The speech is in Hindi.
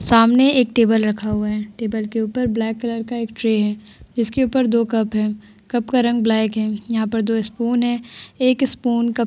सामने एक टेबल रखा हुआ है। टेबल के ऊपर ब्लैक कलर का एक ट्रे है। इसके ऊपर दो कप है। कप का रंग ब्लैक है। यहाँ पर दो स्पून है। एक स्पून क --